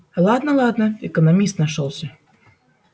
ладно ладно экономист нашёлся